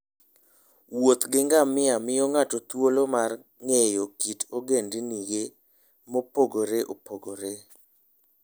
Wuoth gi ngamia miyo ng'ato thuolo mar ng'eyo kit ogendini mopogore opogore.